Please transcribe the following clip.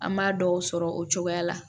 An m'a dɔw sɔrɔ o cogoya la